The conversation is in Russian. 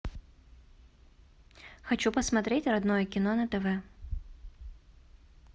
хочу посмотреть родное кино на тв